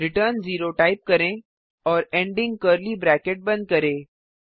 return 0 type करें और ending curly bracket बंद करें